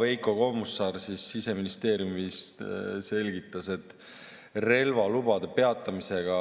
Veiko Kommusaar Siseministeeriumist selgitas, et relvalubade peatamisega